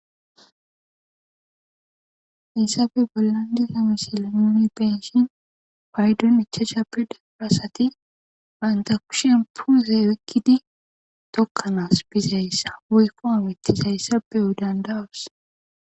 Issafe bollandi gamisile noni penshin paydon icha shappe daparasati baynta kushen puuze wikkidi tokkanas bizayssa woykko amittizayssa pe odandawas.